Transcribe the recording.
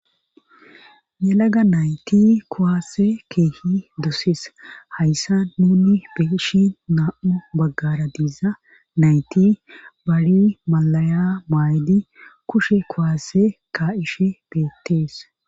yelaga nayti kuwaase keehi doses; haysan nuuni be7she naa7u baaggaara diza nayti bari mallaya mayidi kushe kuwaase kaa7ishe beettes.